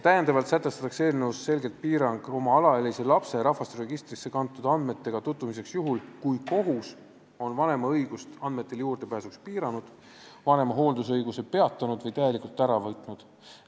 Täiendavalt sätestatakse eelnõus selge piirang oma alaealise lapse rahvastikuregistrisse kantud andmetega tutvumisele juhul, kui kohus on vanema õigust andmetele juurdepääsuks piiranud, vanema hooldusõiguse peatanud või täielikult ära võtnud.